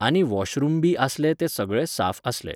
आनी वॉशरूम बी आसले ते सगळे साफ आसले.